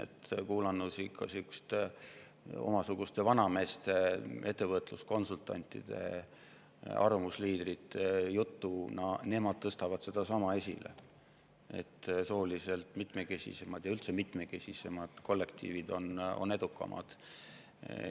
Kui kuulata selliste minusuguste vanameeste, ettevõtluskonsultantide, arvamusliidrite juttu, siis nemad tõstavad esile sedasama, et sooliselt mitmekesisemad ja üldse mitmekesisemad kollektiivid on edukamad.